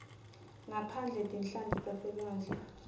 ngaphandle tinhlanti taselwandle